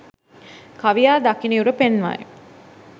කවියා දකිනයුරු පෙන්වයි